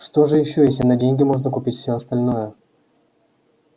что же ещё если на деньги можно купить всё остальное